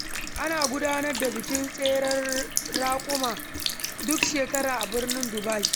Ana gudanar da bikin tseren raƙuma duk shekara a birnin Dubai.